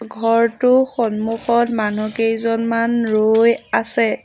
ঘৰটো সন্মুখত মানু্হকেইজনমান ৰৈ আছে।